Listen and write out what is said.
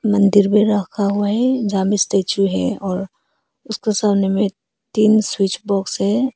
मंदिर में रखा हुआ है जब स्टैचू है और उसके सामने में तीन स्विच बॉक्स है।